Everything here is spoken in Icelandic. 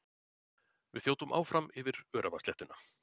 Við þjótum áfram yfir öræfasléttuna.